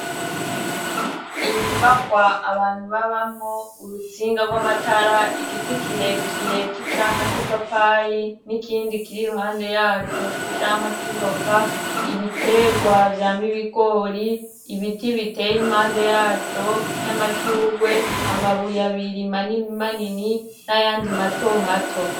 Inyubakwa abantu babamwo, urutsinga rw'amatara, igiti kire kire c'icamwa c'ipapayi n'ikindi kiri iruhande yaco c'icamwa c'ivoka, ibiterwa vyama ibigori, ibiti biteye impande yaco vy'amashurwe, amabuye abiri manini manini n'ayandi mato mato.